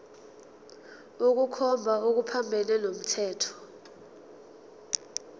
ukukhomba okuphambene nomthetho